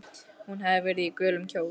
Hún hafði verið í gulum kjól.